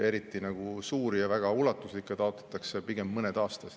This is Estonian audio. Eriti suuri ja väga ulatuslikke taotletakse pigem mõned aastas.